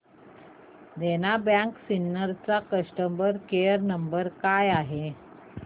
देना bank Sinnar चा customer care क्रमांक काय आहे